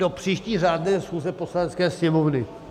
Do příští řádné schůze Poslanecké sněmovny.